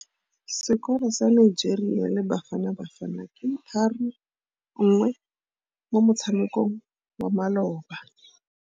Sekôrô sa Nigeria le Bafanabafana ke 3-1 mo motshamekong wa malôba.